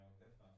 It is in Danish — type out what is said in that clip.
Ja